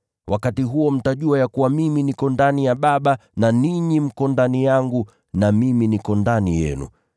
Wakati huo mtajua ya kuwa mimi niko ndani ya Baba na ninyi mko ndani yangu na mimi niko ndani yenu.